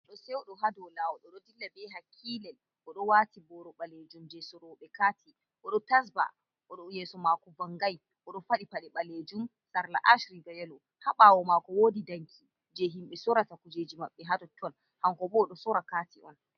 Goɗɗo seuɗo ha dow lawol oɗo dilla be hakilel, oɗo waati boro ɓalejum je soroɓe kati. Oɗo tasba, yeso mako vangai. Oɗo faɗɗi paɗe ɓalejum, sarla ash, riga yelo. Ha ɓawo mako wodi danki je himɓe sorata kujeji maɓɓe ha totton, hankobo oɗo sora kati on.